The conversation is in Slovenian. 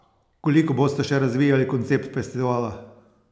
Koliko boste še razvijali koncept festivala?